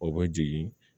O bɛ jigin